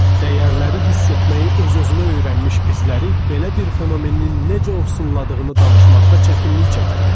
Dəyərləri hiss etməyi öz-özünə öyrənmiş bizləri belə bir fenomenin necə ovsunladığını danışmaqda çətinlik çəkirəm.